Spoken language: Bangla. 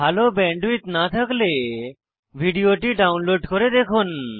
ভাল ব্যান্ডউইডথ না থাকলে ভিডিওটি ডাউনলোড করে দেখুন